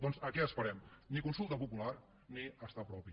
doncs a què esperem ni consulta popular ni estat propi